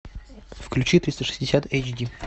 включи триста шестьдесят эйч ди